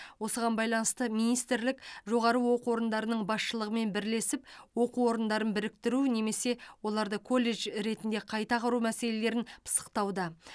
осыған байланысты министрлік жоғары оқу орындарының басшылығымен бірлесіп оқу орындарын біріктіру немесе оларды колледж ретінде қайта құру мәселелерін пысықтауда